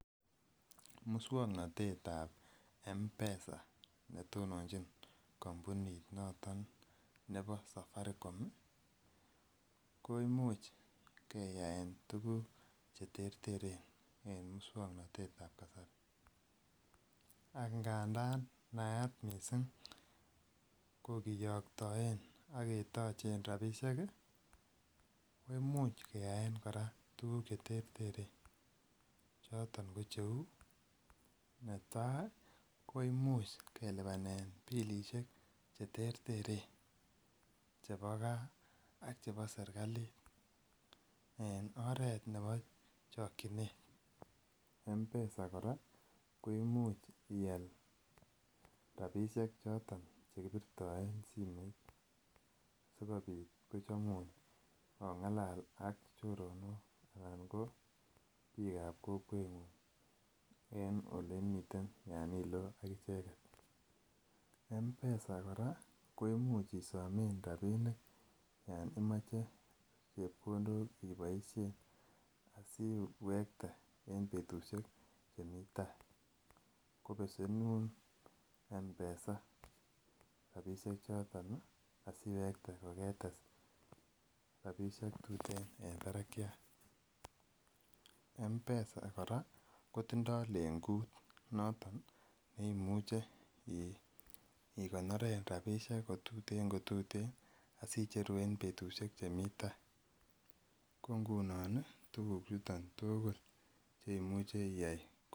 Muswognotetab mpesa ne tonochin kompunit noton nebo safaricom koimuch keyaen tuguk che terteren en muswognotetab kasari angandan nayat missing ko kiyoktoen ak ketochen rabishek ii koimuch keyaen koraa tuguk che terteren choton ko che uu netai koimuch kolipanen bilishek che terteren chebo gaa ak chebo serkalit en oret nebo chokyinet. Mpesa koraa koimuch ial rabishek choton che kibirtoen simoit sikopit kochomun ongalal ak choronok anan biikab kokwengung en ole imii imiten yon iloo ak icheget. Mpesa koraa koimuch isomen rabinik yon imoche chepkondok iboishen asi wekte en betushek chemii tai ko besenun mpesa rabishek choton asiwekte ko ketes rabishek tuten en barakiat. Mpesa koraa kotindo lengut noton neimuche ii igonoren rabishek ko tuten asicheru en betushek chemii tai ko ngunon tuguchuton tugul che imuche iyay